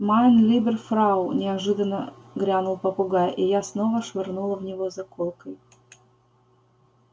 майн либер фрау неожиданно грянул попугай и я снова швырнула в него заколкой